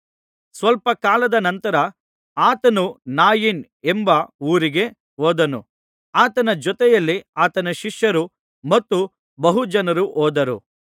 ಸ್ವಲ್ಪಕಾಲದ ನಂತರ ಆತನು ನಾಯಿನ್ ಎಂಬ ಊರಿಗೆ ಹೋದನು ಆತನ ಜೊತೆಯಲ್ಲಿ ಆತನ ಶಿಷ್ಯರು ಮತ್ತು ಬಹುಜನರು ಹೋದರು